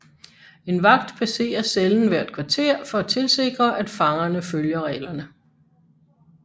En vagt passerer cellen hvert kvarter for at tilsikre at fangerne følger reglerne